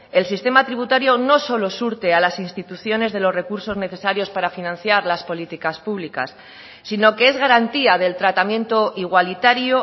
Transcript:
el sistema tributario no solo surte a las instituciones de los recursos necesarios para financiar las políticas públicas sino que es garantía del tratamiento igualitario